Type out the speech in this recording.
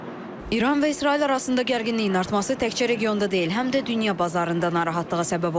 İran və İsrail arasında gərginliyin artması təkcə regionda deyil, həm də dünya bazarında narahatlığa səbəb olub.